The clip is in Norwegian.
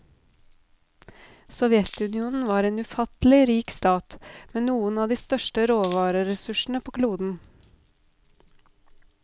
Sovjetunionen var en ufattelig rik stat, med noen av de største råvareressursene på kloden.